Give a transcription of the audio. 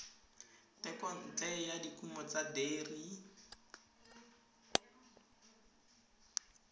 thekontle ya dikumo tsa deri